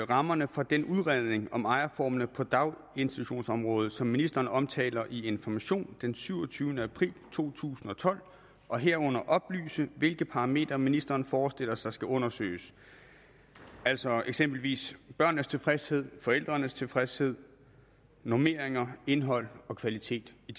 rammerne for den udredning om ejerformerne på daginstitutionsområdet som ministeren omtaler i information den syvogtyvende april to tusind og tolv og herunder oplyse hvilke parametre ministeren forestiller sig skal undersøges altså eksempelvis børnenes tilfredshed forældrenes tilfredshed normeringer indhold og kvalitet i